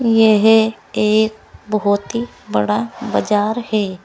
यह एक बहुत ही बड़ा बजार है।